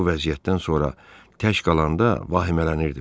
Bu vəziyyətdən sonra tək qalanda vahimələnirdim.